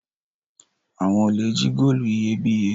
Awọn olè jí góòlù iyebíye